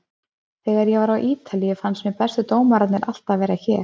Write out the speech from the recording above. Þegar ég var á Ítalíu fannst mér bestu dómararnir alltaf vera hér.